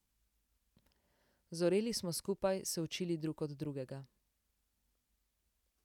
Zoreli smo skupaj, se učili drug od drugega.